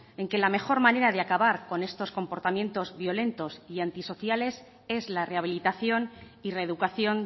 en que la mejor manera de acabar con estos comportamientos violentos y antisociales es la rehabilitación y reeducación